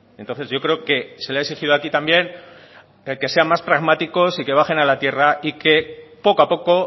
entonces yo creo que se le ha exigido aquí también el que sea más pragmáticos y que bajen a la tierra y que poco a poco